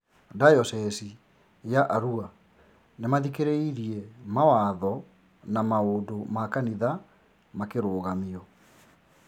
Dayocese ya Arua nĩmaathĩkĩriirie mawatho na na maũndũ ma kanitha makĩrũgamio